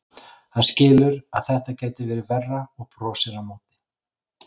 Hann skilur að þetta gæti verið verra og brosir á móti.